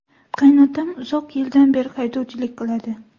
Qaynotam uzoq yildan beri haydovchilik qiladi.